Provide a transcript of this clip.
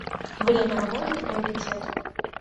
время работы приоритет